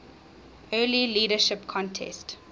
earlier leadership contest